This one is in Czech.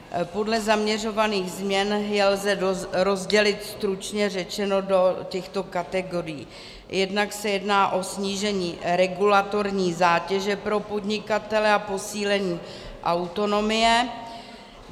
Podle zaměřovaných změn je lze rozdělit stručně řečeno do těchto kategorií: jednak se jedná o snížení regulatorní zátěže pro podnikatele a posílení autonomie.